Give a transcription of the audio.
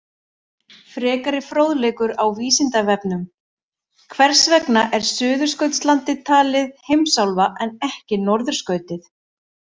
Frekari fróðleikur á Vísindavefnum: Hvers vegna er Suðurskautslandið talið heimsálfa en ekki norðurskautið?